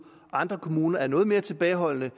andre kommuner er noget mere tilbageholdende